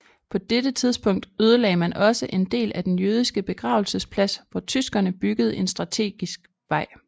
På dette tidspunkt ødelagde man også en del af den jødiske begravelsesplads hvor tyskerne byggede en strategisk vej